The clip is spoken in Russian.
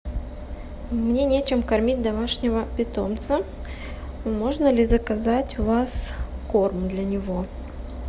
мне нечем кормить домашнего питомца можно ли заказать у вас корм для него